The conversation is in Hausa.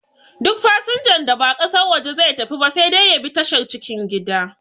Duk fasanjan da ba ƙasar waje zai tafi ba sai dai ya bi tashar cikin gida